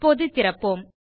இப்போது திறப்போம்